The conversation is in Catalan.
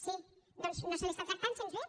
sí doncs no se l’està tractant gens bé